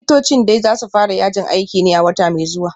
Likitocin dai za su fara yajin aikin ne a wata mai zuwa